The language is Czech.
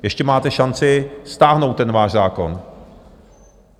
Ještě máte šanci stáhnout ten váš zákon.